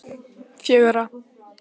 fjögra